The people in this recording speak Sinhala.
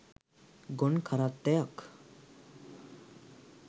ගොන් කරත්තයක්.